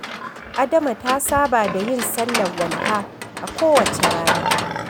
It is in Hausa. Adama ta saba da yin sallar walha a kowace rana.